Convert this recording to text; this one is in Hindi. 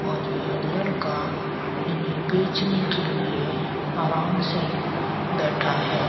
और यह लड़का इन्हें बेचने के लिए आराम से बैठा है।